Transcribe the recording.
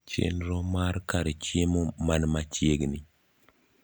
chenro mar kar chiemo man machiegni